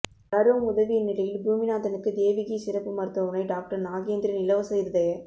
பலரும் உதவிய நிலையில் பூமிநாதனுக்கு தேவகி சிறப்பு மருத்துவமனை டாக்டர் நாகேந்திரன் இலவச இருதய